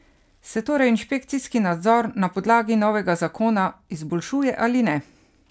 Se torej inšpekcijski nadzor na podlagi novega zakona izboljšuje ali ne?